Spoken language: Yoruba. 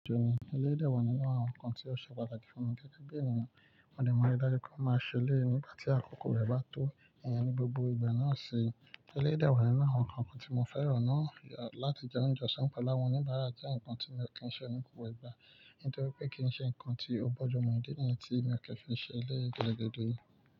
Eléyii de wà nínú àwọn nǹkan tí ó ṣe pàtàkì fún mi gẹ́gẹ́ bí ènìyàn. Mo de maa n riì dájú pé mo máa se eleyii nígbà tí àkókò rẹ̀ bá tó, ìyẹn ní gbogbo ìgbà náà sì. Elédè wà nínú àwọn nǹkan kan tí mo fẹ́ràn náà láti jẹ oúnjẹ ọ̀sán Pálámo níbàárà jẹ́ nǹkan tí mi ò kí ń ṣe ní gbogbo ìgbà, nítorí pé kì í ṣe nǹkan tí ó bójú mu òdí nìyẹn tí mi ò kí ń fi ṣẹlẹ̀ gbẹ́dọ̀gbẹ́dọ̀.